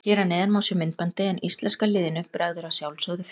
Hér að neðan má sjá myndbandið en íslenska liðinu bregður að sjálfsögðu fyrir.